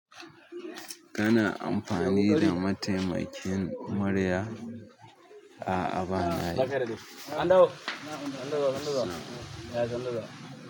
Ka na amfani da mataimakin murya? A'a ba na yi.